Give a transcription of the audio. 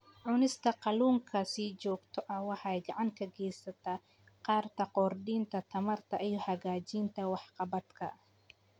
Cunista kalluunka si joogto ah waxay gacan ka geysan kartaa kordhinta tamarta iyo hagaajinta waxqabadka.